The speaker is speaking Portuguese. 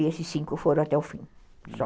E esses cinco foram até o fim, só.